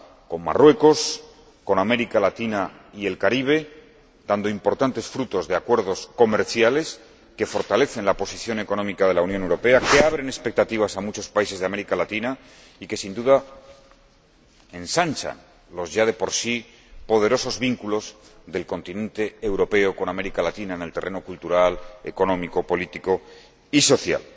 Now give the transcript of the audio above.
con Marruecos, con América Latina y el Caribe—, dando importantes frutos con acuerdos comerciales que fortalecen la posición económica de la Unión Europea, que abren expectativas a muchos países de América Latina y que, sin duda, ensanchan los ya de por sí poderosos vínculos del continente europeo con América Latina en el terreno cultural, económico, político y social.